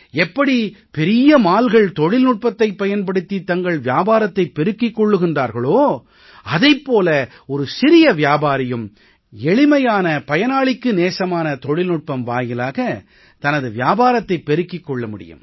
எப்படி பெரிய mallகள் தொழில்நுட்பத்தைப் பயன்படுத்தி தங்கள் வியாபாரத்தைப் பெருக்கிக் கொள்கிறார்களோ அதைப் போல ஒரு சிறிய வியாபாரியும் எளிமையான பயனாளிக்கு நேசமான தொழில்நுட்பம் வாயிலாக தனது வியாபாரத்தைப் பெருக்கிக் கொள்ள முடியும்